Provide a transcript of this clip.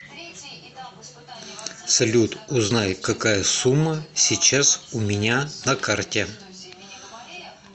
салют узнай какая сумма сейчас у меня на карте